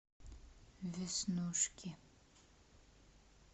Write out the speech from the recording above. веснушки